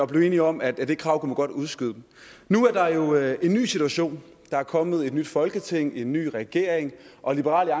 blev enige om at det krav kunne man godt udskyde nu er der jo en ny situation der er kommet et nyt folketing en ny regering og liberal